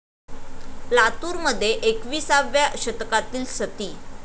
लातूरमध्ये एकवीसाव्या शतकातील सती!